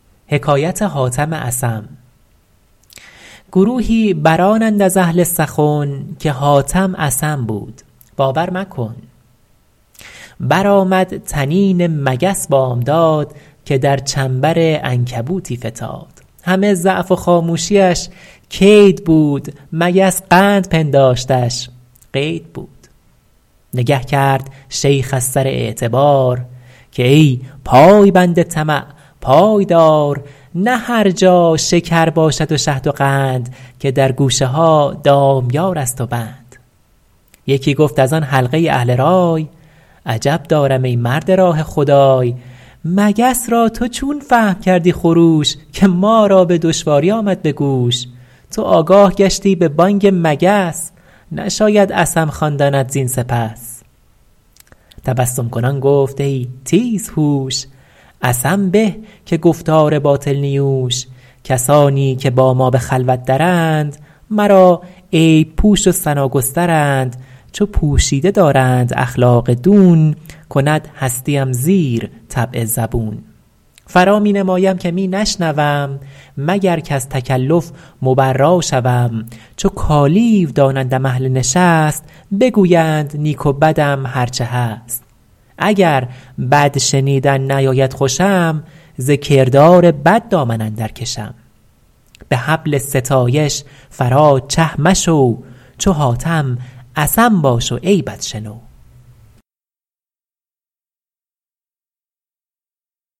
گروهی برآنند از اهل سخن که حاتم اصم بود باور مکن برآمد طنین مگس بامداد که در چنبر عنکبوتی فتاد همه ضعف و خاموشیش کید بود مگس قند پنداشتش قید بود نگه کرد شیخ از سر اعتبار که ای پایبند طمع پای دار نه هر جا شکر باشد و شهد و قند که در گوشه ها دامیار است و بند یکی گفت از آن حلقه اهل رای عجب دارم ای مرد راه خدای مگس را تو چون فهم کردی خروش که ما را به دشواری آمد به گوش تو آگاه گشتی به بانگ مگس نشاید اصم خواندنت زین سپس تبسم کنان گفت ای تیز هوش اصم به که گفتار باطل نیوش کسانی که با ما به خلوت درند مرا عیب پوش و ثنا گسترند چو پوشیده دارند اخلاق دون کند هستیم زیر طبع زبون فرا می نمایم که می نشنوم مگر کز تکلف مبرا شوم چو کالیو دانندم اهل نشست بگویند نیک و بدم هر چه هست اگر بد شنیدن نیاید خوشم ز کردار بد دامن اندر کشم به حبل ستایش فرا چه مشو چو حاتم اصم باش و عیبت شنو